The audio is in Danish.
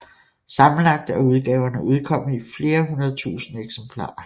Sammenlagt er udgaverne udkommet i flere hundredtusinde eksemplarer